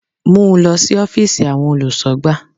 Mú lọ sí Ófììsì àwọn olùsọ̀gbà